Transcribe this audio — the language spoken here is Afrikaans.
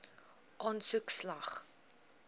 aansoek slaag